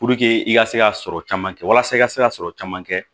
i ka se ka sɔrɔ caman kɛ walasa i ka se ka sɔrɔ caman kɛ